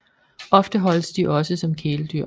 Ofte holdes de også som kæledyr